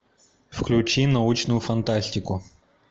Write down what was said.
включи научную фантастику